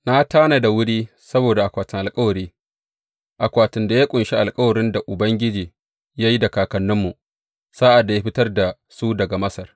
Na tanada wuri saboda akwatin alkawari, akwatin da ya ƙunshi alkawarin da Ubangiji ya yi da kakanninmu sa’ad da ya fitar da su daga Masar.